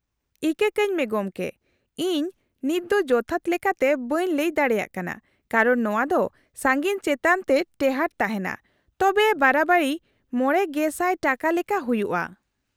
-ᱤᱠᱟᱹ ᱠᱟᱹᱧᱢᱮ ᱜᱚᱢᱠᱮ, ᱤᱧ ᱱᱤᱛᱫᱚ ᱡᱚᱛᱷᱟᱛ ᱞᱮᱠᱟᱛᱮ ᱵᱟᱹᱧ ᱞᱟᱹᱭ ᱫᱟᱲᱮᱭᱟᱜ ᱠᱟᱱᱟ ᱠᱟᱨᱚᱱ ᱱᱚᱶᱟ ᱫᱚ ᱥᱟᱺᱜᱤᱧ ᱪᱮᱛᱟᱱ ᱛᱮ ᱴᱮᱦᱟᱸᱴ ᱛᱟᱦᱮᱱᱟ, ᱛᱚᱵᱮ ᱵᱟᱨᱟᱵᱟᱨᱤ ᱕,᱐᱐᱐ ᱴᱟᱠᱟ ᱞᱮᱠᱟ ᱦᱩᱭᱩᱜᱼᱟ ᱾